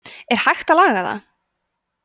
er hægt að laga það